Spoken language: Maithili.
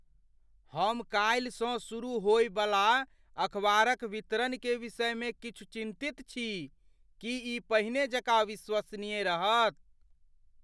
हम कालिसँ शुरू होबयवला अखबारक वितरणके विषयमे किछु चिन्तित छी। की ई पहिने जकाँ विश्वसनीय रहत?